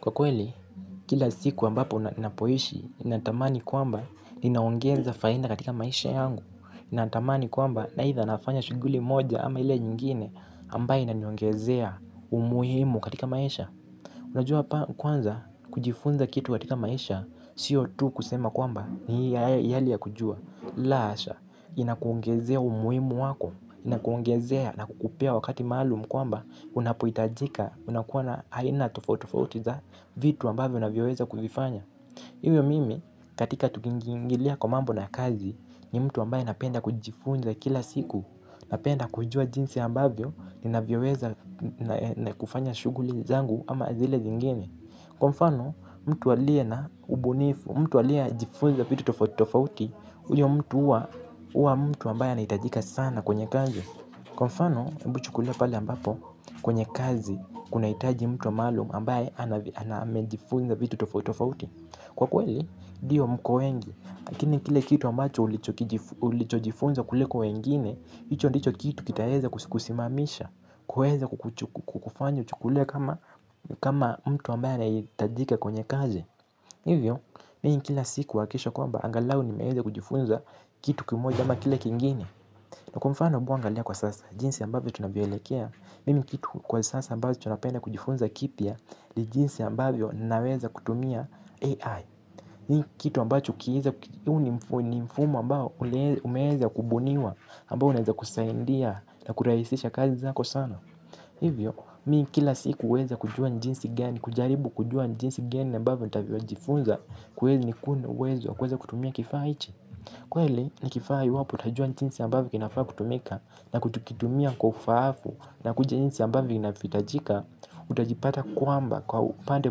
Kwa kweli, kila siku ambapo napoishi, inatamani kwamba ninaongeza faida katika maisha yangu. Natamani kwamba na haitha nafanya shuguli moja ama hile nyingine ambaye inaniongezea umuhimu katika maisha. Unajua pa kwanza kujifunza kitu katika maisha, siyo tu kusema kwamba ni hali ya kujua. La asha, inakuongezea umuhimu wako, inakuongezea na kukupea wakati maalumu kwamba, unapoitajika unakuwa na haina tofaiti tofauti za vitu ambavyo unavyoweza kufanya. Ivyo mimi katika tukiingi ngilia kwa mambo na kazi. Ni mtu ambaye napenda kujifunza kila siku. Napenda kujua jinsi ambavyo navyoweza na kufanya shuguli zangu ama zile zingine. Kwa mfano mtu aliye na ubunifu. Mtu aliye jifunza vitu tofauti tofauti. Uyo mtu uwa mtu ambaye anaitajika sana kwenye kazi. Kwa mfano hebu chukulia pale ambapo kwenye kazi kunaitaji mtu wa maalum ambaye anamejifunza vitu tofauti tofauti. Kwa kweli, dio mko wengi. Lakini kile kitu ambacho ulicho jifunza kuliko wengine hicho ndicho kitu kitaeza kusimamisha. Kuweza kukufanya uchukulie kama mtu ambaye anayitajika kwenye kazi. Hivyo, mimi kila siku huwakikisha kwamba angalau nimeeza kujifunza kitu kimoja ama kile kiengine. Na kwa mfano hebu angalia kwa sasa jinsi ambavyo tunavyoelekea. Mimi kitu kwa sasa ambacho napenda kujifunza kipya. Li jinsi ambavyo naweza kutumia AI. Ni kitu ambacho kieza. Ni mfumo ambao umeeza kubuniwa ambao unaweza kusaindia na kurahisisha kazi zako sana. Hivyo, mi kila siku uweza kujua njinsi gani. Kujaribu kujua njinsi gani ambavyo ntavyo jifunza. Kweli nikuwe na uwezo kuweza kutumia kifaa hicho. Kweli, ni kifaa iwapo utajua njinsi ambavyo kinafaa kutumika na kutukitumia kwa ufaafu na kujinisi ambavyuo inafitajika utajipata kwamba kwa upande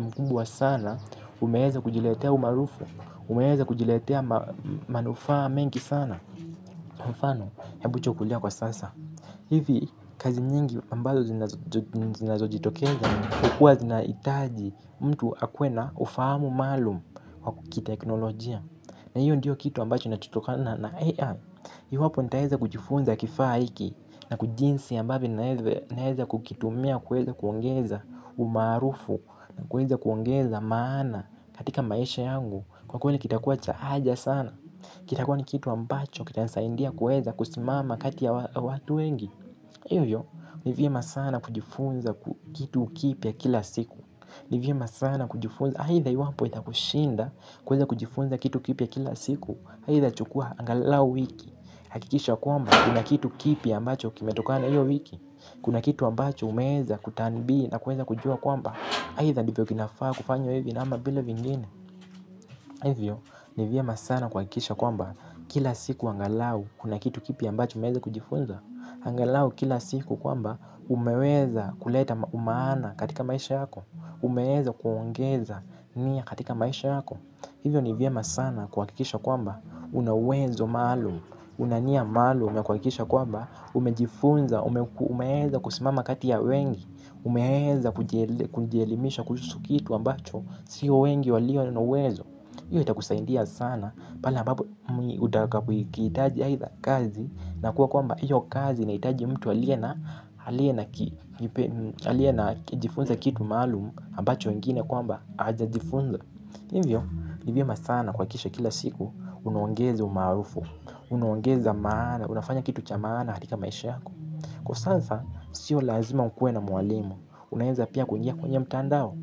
mkumbwa sana umeeza kujiletea umaarufu umeeza kujiletea manufaa mengi sana mfano, hebu chukulia kwa sasa hivi kazi nyingi ambazo zinazojitokeza kukua zinaitaji mtu akuwe na ufahamu maalum kwa kiteknolojia na hiyo ndiyo kitu ambacho nacho tokana na AI iwapo nitaeza kujifunza kifaa hiki. Na kujinsi ambavyo naeza kukitumia kuweza kuongeza umaarufu. Na kuweza kuongeza maana katika maisha yangu. Kwa kweli kitakuwa cha haja sana. Kitakuwa ni kitu ambacho kitani saindia kuweza kusimama kati ya watu wengi. Ivyo, ni vyema sana kujifunza kitu kipy a kila siku. Nivyema sana kujifunza, haitha iwapo itakushinda. Kuweza kujifunza kitu kipya kila siku. Haitha chukua angalau wiki. Hakikisha kwamba kuna kitu kipi ambacho kimetokana iyo wiki. Kuna kitu ambacho umeeza kutambi na kuweza kujua kwamba haitha ndivyo kinafaa kufanywa hivyo na ama vile vingine. Hivyo ni vyema sana kuhakikisha kwamba kila siku angalau kuna kitu kipya ambacho umeeza kujifunza. Angalau kila siku kwamba umeweza kuleta umaana katika maisha yako. Umeweza kuongeza nia katika maisha yako. Hivyo ni vyema sana kuhakikisha kwamba una uwezo maalum. Una nia maalum. Umejifunza. Umeweza kusimama kati ya wengi. Umeweza kujielimisha. Kuhusu kitu ambacho siyo wengi walio na uwezo. Iyo itakusaindia sana. Pale ambapo utakapo kiitaji aitha kazi. Nakuwa kwamba iyo kazi inaitaji mtu alie na jifunza kitu maalum ambacho wengine kwamba wajajifunza ivyo ni vyema sana kuakikisha kila siku. Unaongeza umaarufu. Unaongezi maana. Unafanya kitu cha maana katika maisha yako. Kwa sasa, sio lazima ukuwe na mwalimu. Unaeza pia kuingia kwenye mtandao.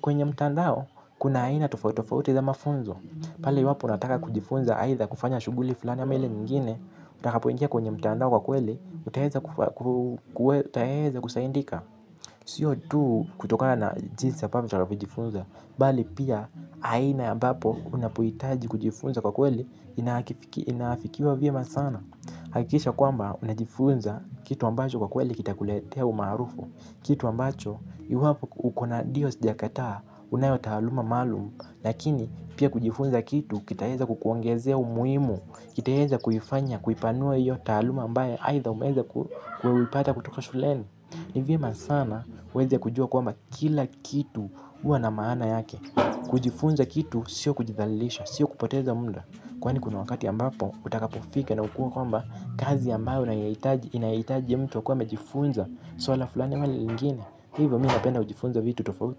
Kwenye mtandao. Kuna aina tofauti tofauti za mafunzo. Pale iwapo unataka kujifunza. Aitha kufanya shuguli fulani ama ile nyingine. Utakapo ingia kwenye mtandao kwa kweli. Utaeza kusaindika. Sio tu kutokana na jinsi ambavyo utaeza kujifunza. Bali pia aina ambapo unapoitaji kujifunza kwa kweli inaafikiwa vyema sana hakikisha kwamba unajifunza kitu ambacho kwa kweli kita kuletea umaarufu, kitu ambacho iwapo uko na dio sijakataa unayotaaluma maalumu lakini pia kujifunza kitu kitaeza kukuongezea umuhimu kitaeza kuifanya, kuipanua iyo taaluma ambaye aitha umeweza kuipata kutoka shuleni ni vyema sana uweze kujua kwamba kila kitu uwa na maana yake kujifunza kitu. Sio kujithal; ilisha, sio kupoteza muda. Kwani kuna wakati ambapo utakapofika na ukue kwamba kazi ambayo inayoitaji ya mtu akuwe amejifunza. Swala fulani ama lingine. Hivyo mi napenda kujifunza vitu tofauti.